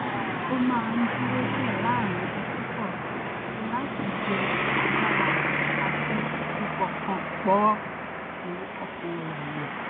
ó máa ń dúró díẹ̀ láàárín iṣẹ́ kọ̀ọ̀kan láti yẹ agbára rẹ̀ àti ìpọkàn pọ̀ èrò orí rẹ̀ wọ̀